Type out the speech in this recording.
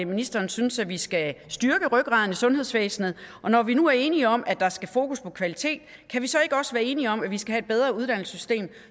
ministeren synes at vi skal styrke rygraden i sundhedsvæsenet og når vi nu er enige om at der skal fokus på kvalitet kan vi så ikke også være enige om at vi skal have et bedre uddannelsessystem